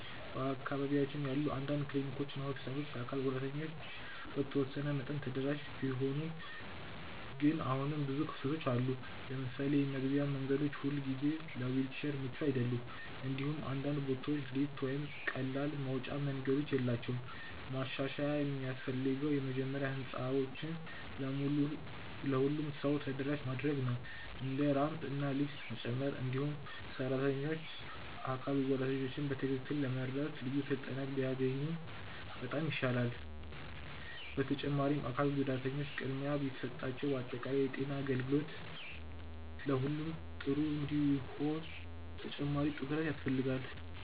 በአካባቢያችን ያሉ አንዳንድ ክሊኒኮች እና ሆስፒታሎች ለአካል ጉዳተኞች በተወሰነ መጠን ተደራሽ ቢሆኑም ግን አሁንም ብዙ ክፍተቶች አሉ። ለምሳሌ የመግቢያ መንገዶች ሁልጊዜ ለዊልቸር ምቹ አይደሉም፣ እንዲሁም አንዳንድ ቦታዎች ሊፍት ወይም ቀላል መውጫ መንገዶች የላቸውም። ማሻሻያ የሚያስፈልገው መጀመሪያ ህንፃዎችን ለሁሉም ሰው ተደራሽ ማድረግ ነው፣ እንደ ራምፕ እና ሊፍት መጨመር። እንዲሁም ሰራተኞች አካል ጉዳተኞችን በትክክል ለመርዳት ልዩ ስልጠና ቢያገኙ በጣም ይሻላል። በተጨማሪም አካል ጉዳተኞች ቅድሚያ ቢሰጣቸው በአጠቃላይ የጤና አገልግሎት ለሁሉም ጥሩ እንዲሆን ተጨማሪ ትኩረት ያስፈልጋል።